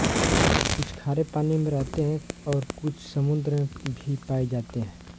कुछ खारे पानी में रहते हैं और कुछ समुद्र में भी पाए जाते हैं